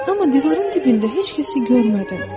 Amma divarın dibində heç kəsi görmədim.